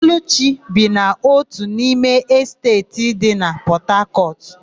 Ọlụchi bi na ótù n'ime Esteeti dị na Pọtakọtụ.